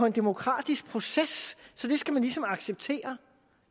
en demokratisk proces så det skal man ligesom acceptere